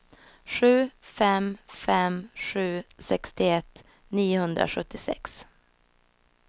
sju fem fem sju sextioett niohundrasjuttiosex